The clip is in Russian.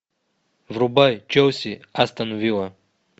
врубай челси астон вилла